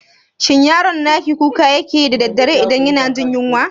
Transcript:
Shin yaron naki kuka yake yi da daddare idan yana jin yunwa?